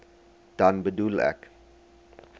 dan bedoel ek